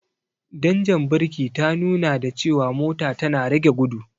Danjar birki ta nuna da cewa mota tana rage gudu.